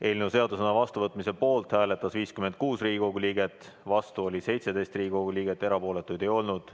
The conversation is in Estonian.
Eelnõu seadusena vastuvõtmise poolt hääletas 56 Riigikogu liiget, vastu oli 17 Riigikogu liiget, erapooletuid ei olnud.